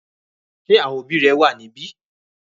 Ṣé àwọn òbí rẹ wà níbí?